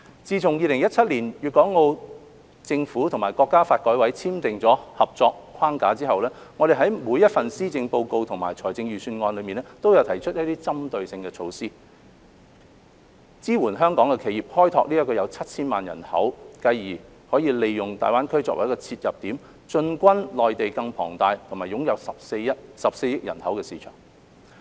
自2017年，粵港澳政府和國家發展和改革委員會簽訂合作框架後，我們在每一份施政報告及財政預算案內均有提出一些針對性措施，支援香港企業開拓這個有超過 7,000 萬人口的市場，繼而利用大灣區為切入點，進軍內地更龐大、擁有14億人口的市場。